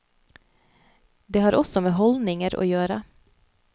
Det har også med holdninger å gjøre.